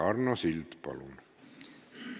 Arno Sild, palun!